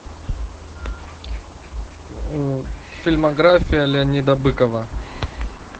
фильмография леонида быкова